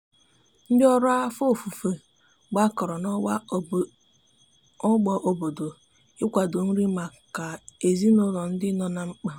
ndi ọrụ afọ ọfufo gbakọrọ na ogbo obodo ị kwado nri maka ezinulo ndi nọ na mkpa